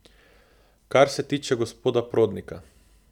Kar se tiče gospoda Prodnika.